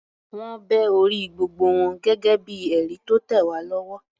Wọ́n bẹ orí gbogbo wọn gẹ́gẹ́ bíi ẹ̀rí tó tẹ̀ wá lọ́wọ́.